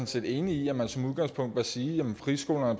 set enig i at man som udgangspunkt bør sige at friskolerne og